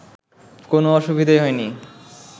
কোনও অসুবিধাই হয়নি